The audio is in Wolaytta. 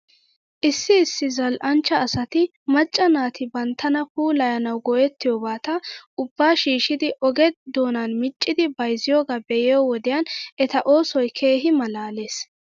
Issi issi zal'anchcha asati macca naati banttana puulayanaw go'ettiyoobata ubbaa shiishshidi oge doonanmiccidi bayzziyoogaa be'iyoo wodiyan eta oosoy keehi malaales.